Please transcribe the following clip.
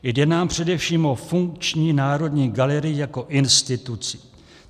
Jde nám především o funkční Národní galerii jako instituci.